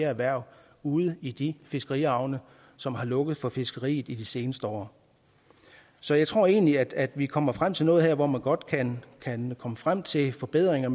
erhverv ude i de fiskerihavne som har lukket for fiskeriet i de seneste år så jeg tror egentlig at vi kommer frem til noget her hvor man godt kan kan komme frem til forbedringer